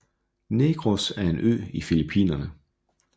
Negros er en ø i Filipinerne